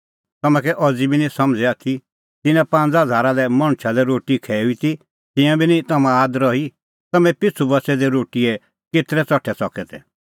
तम्हैं कै अज़ी बी निं समझ़ै आथी तिन्नां पांज़ा हज़ारा लै मणछा लै रोटी खैऊई ती तिंयां बी निं तम्हां आद रही तम्हैं पिछ़ू बच़ै दै रोटीए केतरै च़ठै च़कै तै